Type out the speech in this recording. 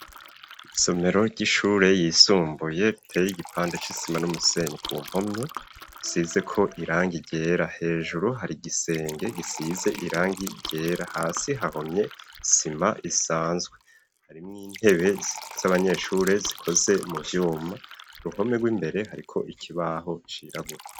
Isomero ry'ishure ryisumbuye riteye igipande c'isima n'umusenyi ku mpome hasizeko irangi ryera hejuru hari igisenge gisize irangi ryera hasi hahomye isima isanzwe, harimwo intebe z'abanyeshure zikoze mu vyuma ku ruhome rw'imbere hariko ikibaho cirabura.